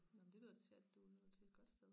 Nå men det lyder da til at du er nået til et godt sted